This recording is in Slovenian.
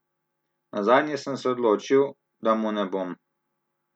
Nazadnje sem se odločil, da mu ne bom.